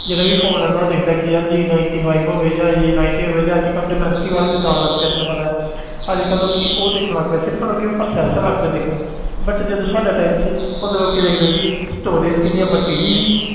ਜਿਹੜਾ ਵੀ phone ਲੈਂਦਾ ਉਹ ਦੇਖਦਾ ਕਿ ਯਾਰ j ninety five ਹੋਵੇ ਜਾਂ j ninety ਹੋਵੇ ਜਾਂ ਅੱਜ ਕੱਲ੍ਹ ਡੋਮੈਸਟੀ ਵਾਲਾ ਜਿੱਦਾਂ ਆਉਣ ਲੱਗ ਪਿਆ ਤੈਨੂੰ ਪਤਾ ਹੈ ਅੱਜ ਕੱਲ੍ਹ ਲੋਕੀ ਉਹ ਦੇਖਣ ਲੱਗ ਪਏ, ਸਿਰਫ਼ ਲੋਕੀ ਹੁਣ processor ਲੱਗ ਪਏ ਦੇਖਣ but ਜਦੋਂ ਸਾਡਾ time ਸੀ ਉਦੋਂ ਲੋਕੀ ਵੇਖਦੇ ਸੀ storage ਕਿੰਨੀ ਆਂ ਬੱਤੀ GB